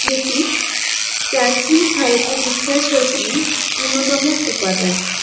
লিপি প্রাচীন ভারতের ইতিহাস রচনায় অন্যতম উপাদান।